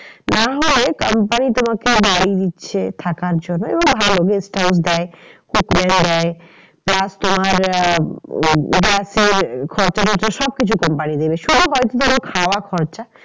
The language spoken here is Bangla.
না হয় company তোমাকে বাড়ি দিচ্ছে থাকার জন্য guest house দেয় hotel দেয় plus তোমার আহ খরচা রয়েছে সব কিছু company দেবে। শুধু হয়তো তোমার খাওয়া খরচা